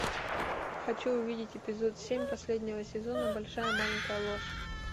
хочу увидеть эпизод семь последнего сезона большая маленькая ложь